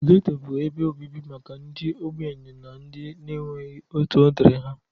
Getto bụ ebe obibi maka ndị ogbenye na ndị na-enweghi otu odiri ha.